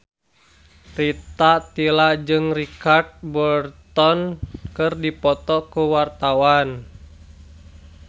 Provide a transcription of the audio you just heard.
Rita Tila jeung Richard Burton keur dipoto ku wartawan